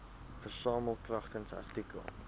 versamel kragtens artikel